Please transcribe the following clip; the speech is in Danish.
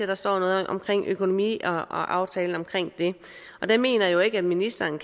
der står noget om økonomi og aftalen om det og der mener jeg jo ikke ministeren